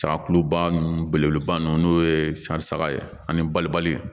Sagakuluba nun belebeleba nunnu n'o ye saga ye ani balibali